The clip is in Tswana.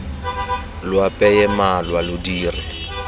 lo apeye malwa lo dire